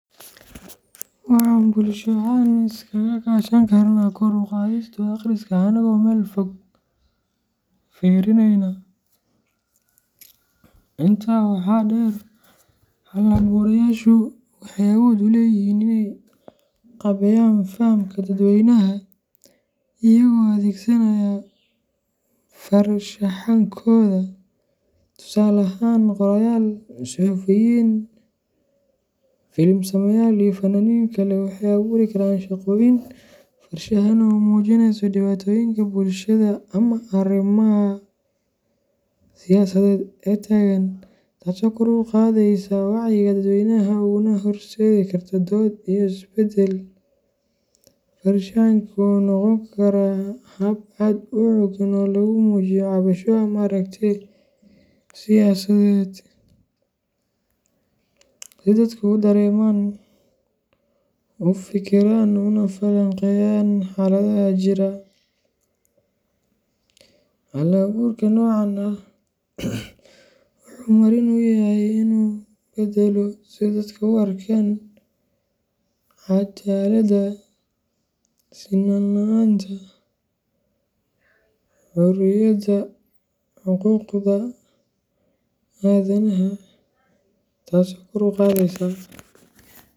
Waxan bulsho ahan isaga kashan karna kor u qadhistu aqriska anago mel fog firineyna ,Intaa waxaa dheer, hal abuurayaashu waxay awood u leeyihiin inay qaabeeyaan fahamka dadweynaha iyagoo adeegsanaya farshaxankooda. Tusaale ahaan, qoraayaal, suxufiyiin, film sameeyayaal, iyo fanaaniin kale waxay abuuri karaan shaqooyin farshaxan oo muujinaya dhibaatooyinka bulshada ama arrimaha siyaasadeed ee taagan, taasoo kor u qaadaysa wacyiga dadweynaha una horseedi karta dood iyo isbeddel. Farshaxanka wuxuu noqon karaa hab aad u xooggan oo lagu muujiyo cabasho ama aragti siyaasadeed si dadku u dareemaan, u fikiraan, una falanqeeyaan xaaladaha jira. Hal abuurka noocan ah wuxuu marin u yahay inuu beddelo sida dadku u arkaan cadaaladda, sinnaan la'aanta, xorriyadda, iyo xuquuqda aadanaha, taso kor u qadhesa.